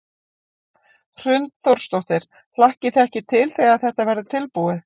Hrund Þórsdóttir: Hlakkið þið ekki til þegar þetta verður tilbúið?